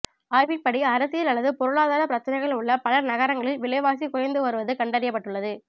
ஆய்வின்படி அரசியல் அல்லது பொருளாதாரப் பிரச்சினைகள் உள்ள பல நகரங்களில் விலைவாசி குறைந்து வருவது கண்டறியப்பட்டுள்ளது